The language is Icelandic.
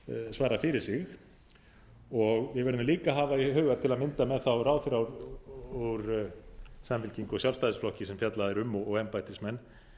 svara fyrir sig og við verðum líka að hafa í huga til að mynda með þá ráðherra úr samfylkingu og sjálfstæðisflokki sem fjallað er um og embættismenn